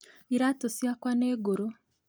Iratũciakwa nĩ ngũrũ